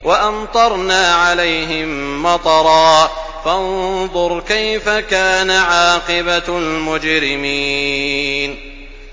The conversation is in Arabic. وَأَمْطَرْنَا عَلَيْهِم مَّطَرًا ۖ فَانظُرْ كَيْفَ كَانَ عَاقِبَةُ الْمُجْرِمِينَ